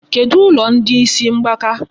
Kedụ ụlọ ndị isi mgbaka?